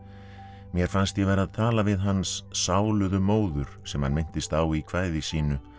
mér fannst ég vera að tala við hans móður sem hann minnist á í kvæði sínu